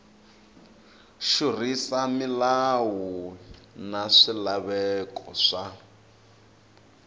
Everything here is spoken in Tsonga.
xurhisa milawu na swilaveko swa